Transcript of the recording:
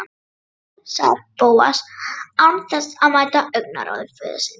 Nei- sagði Bóas án þess að mæta augnaráði föður síns.